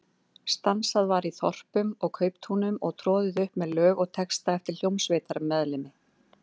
Stansað var í þorpum og kauptúnum og troðið upp með lög og texta eftir hljómsveitarmeðlimi.